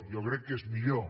jo crec que és millor